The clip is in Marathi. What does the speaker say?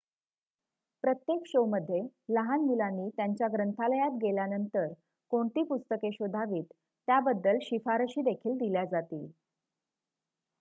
प्रत्येक शोमध्ये लहान मुलांनी त्यांच्या ग्रंथालयात गेल्यानंतर कोणती पुस्तके शोधावीत त्याबद्दल शिफारशी देखील दिल्या जातील